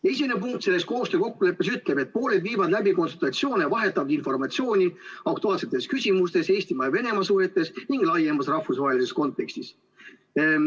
Esimene punkt selles koostöökokkulepes ütleb, et pooled viivad läbi konsultatsioone ja vahetavad informatsiooni aktuaalsetes küsimustes Eesti ja Venemaa suhetes ning laiemas rahvusvahelises kontekstis.